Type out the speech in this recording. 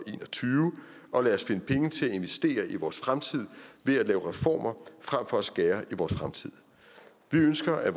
tyve og lad os finde penge til at investere i vores fremtid ved at lave reformer frem for at skære i vores fremtid vi ønsker at